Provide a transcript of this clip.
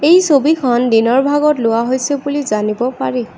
এই ছবিখন দিনৰ ভাগত লোৱা হৈছে বুলি জানিব পাৰি।